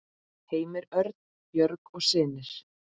Heimir Örn, Björg og synir.